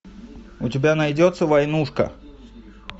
у тебя найдется войнушка